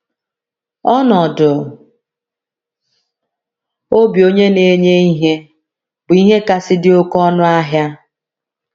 Ọnọdụ obi onye na - enye ihe bụ ihe kasị dị oké ọnụ ahịa.